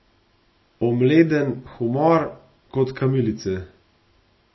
Omleden humor, kot kamilice.